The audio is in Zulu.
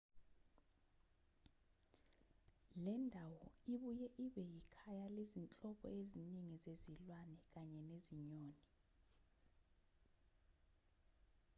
lendawo ibuye ibe yikhaya lezinhlobo ezingi zezilwane kanye nezinyoni